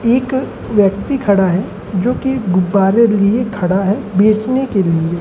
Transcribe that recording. एक व्यक्ति खड़ा है जो कि गुब्बारे लिए खड़ा है बेचने के लिए।